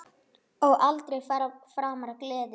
Og aldrei framar gleði.